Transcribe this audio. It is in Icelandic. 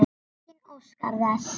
Enginn óskar þess.